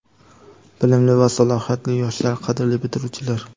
Bilimli va salohiyatli yoshlar, qadrli bitiruvchilar!.